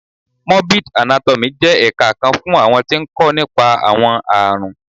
Morbid Anátọ́miì jẹ́ ẹ̀ka kan fún àwọn tí ń kó nípa. àwọn àrùn